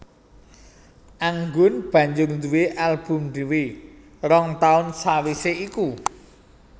Anggun banjur nduwé album dhéwé rong taun sawisé iku